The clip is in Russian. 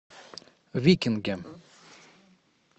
викинги